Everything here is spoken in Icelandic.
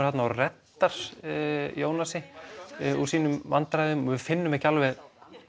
þarna og reddar Jónasi úr sínum vandræðum og við finnum ekki alveg